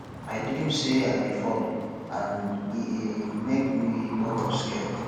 i dream say i dey fall and e e make me wake up scared